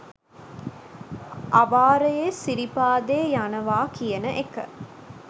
අවාරයේ සිරිපාදේ යනවා කියන එක